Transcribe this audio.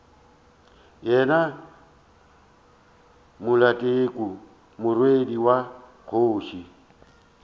yona maleteku morwedi wa kgoši